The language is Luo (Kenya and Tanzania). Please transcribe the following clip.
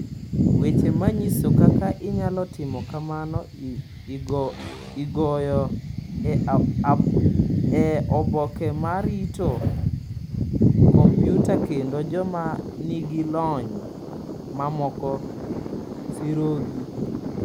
Weche ma nyiso kaka inyalo timo kamano igoyo e oboke ma rito kompyuta kendo joma nigi lony mamoko sirogi.